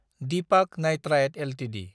Deepak nitrite Ltd